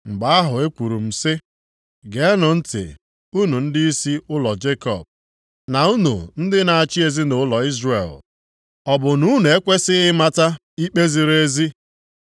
Mgbe ahụ ekwuru m sị, “Geenụ ntị unu ndịisi ụlọ Jekọb, na unu ndị na-achị ezinaụlọ Izrel. Ọ bụ na unu ekwesighị ịmata ikpe ziri ezi